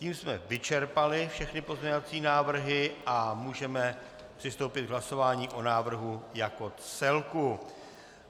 Tím jsme vyčerpali všechny pozměňovací návrhy a můžeme přistoupit k hlasování o návrhu jako celku.